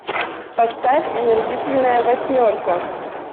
поставь омерзительная восьмерка